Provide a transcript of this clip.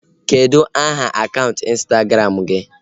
Kedụ aha akaụntụ ịnstagram gị?